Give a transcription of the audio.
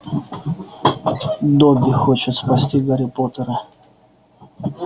добби хочет спасти гарри поттера